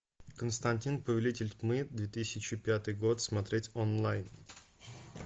константин повелитель тьмы две тысячи пятый год смотреть онлайн